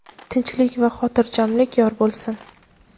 tinchlik va xotirjamlik yor bo‘lsin.